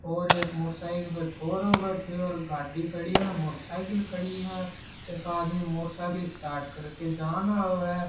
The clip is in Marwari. और एक मोटर साइकिल पे छोरो बैठ्यो गाड्डी खड़ी है मोटर साइकिल खड़ी है एक आदमी मोटर साइकिल स्टार्ट करके जा रयो है।